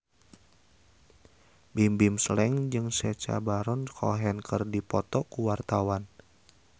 Bimbim Slank jeung Sacha Baron Cohen keur dipoto ku wartawan